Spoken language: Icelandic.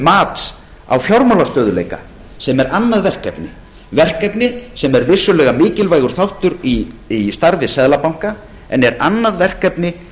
mats á fjármálastöðugleika sem er annað verkefni verkefni sem er vissulega mikilvægur þáttur í starfi seðlabanka en er annað verkefni